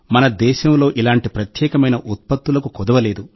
మన దేశంలో ఇలాంటి ప్రత్యేకమైన ఉత్పత్తులకు కొదవలేదు